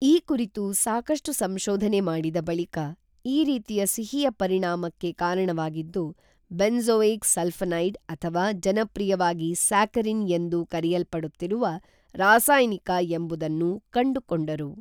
ಈ ಕುರಿತು ಸಾಕಷ್ಟು ಸಂಶೋಧನೆ ಮಾಡಿದ ಬಳಿಕ ಈ ರೀತಿಯ ಸಿಹಿಯ ಪರಿಣಾಮಕ್ಕೆ ಕಾರಣವಾಗಿದ್ದು ಬೆಂಝೋಯಿಕ್ ಸಲ್ಫಿನೈಡ್ ಅಥವಾ ಜನಪ್ರಿಯವಾಗಿ ಸ್ಯಾಕರಿನ್ ಎಂದು ಕರೆಯಲ್ಪಡುತ್ತಿರುವ ರಾಸಾಯನಿಕ ಎಂಬುದನ್ನು ಕಂಡುಕೊಂಡರು